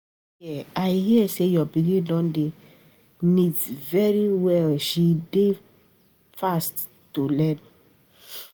I hear I hear say your pikin don dey knit very well she be fast learner